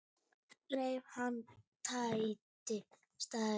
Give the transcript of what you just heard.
Reif hana, tætti, særði.